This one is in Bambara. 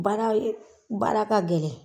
Baara baara ka gɛlɛn